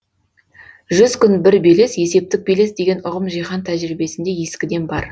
жүз күн бір белес есептік белес деген ұғым жиһан тәжірибесінде ескіден бар